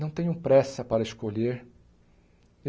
Não tenham pressa para escolher.